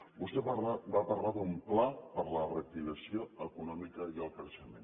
vostè va parlar d’un pla per a la reactivació econòmica i el creixement